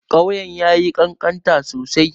Ƙauyen ya yi ƙanƙanta sosai.